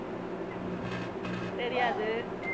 தெரியாது